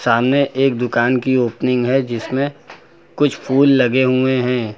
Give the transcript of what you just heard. सामने एक दुकान की ओपनिंग है जिसमें कुछ फूल लगे हुए हैं।